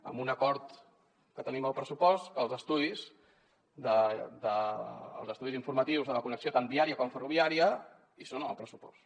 amb un acord que tenim al pressupost perquè els estudis informatius de la connexió tant viària com ferroviària hi són en el pressupost